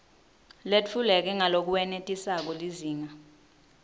letfuleke ngalokwenetisako lizinga